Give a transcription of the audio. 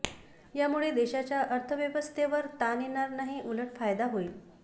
यामुळे देशाच्या अर्थव्यवस्थेवर ताण येणार नाही उलट फायदा होईल